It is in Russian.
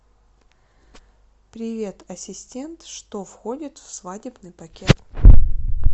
привет ассистент что входит в свадебный пакет